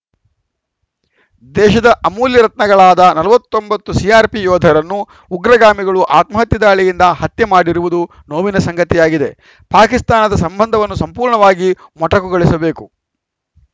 ದೇಶದ ಅಮೂಲ್ಯ ರತ್ನಗಳಾದ ನಲವತ್ತ್ ಒಂಬತ್ತು ಸಿಆರ್‌ಪಿ ಯೋಧರನ್ನು ಉಗ್ರಗಾಮಿಗಳು ಆತ್ಮಹತ್ಯೆ ದಾಳಿಯಿಂದ ಹತ್ಯೆ ಮಾಡಿರುವುದು ನೋವಿನ ಸಂಗತಿಯಾಗಿದೆ ಪಾಕಿಸ್ತಾನದ ಸಂಬಂಧವನ್ನು ಸಂಪೂರ್ಣವಾಗಿ ಮೊಟಕುಗೊಳಿಸಬೇಕು